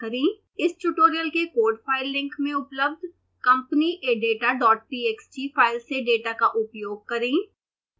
इस ट्यूटोरियल के code file link में उपलब्ध companyadatatxt फाइल से डेटा का उपयोग करें